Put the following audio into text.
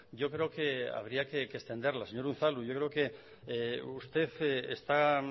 yo creo que habría que extenderla señor unzalu yo creo que usted está